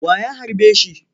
Wa ya harbe shi?